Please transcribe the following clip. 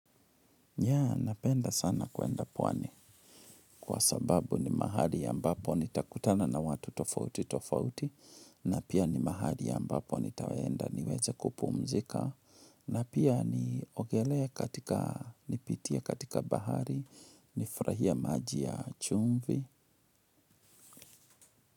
Ya napenda sana kuenda pwani kwa sababu ni mahali ambapo nitakutana na watu tofauti tofauti na pia ni mahali ambapo nitaenda niweze kupumzika na pia niogelee katika nipitie katika bahari nifurahie maji ya chumvi.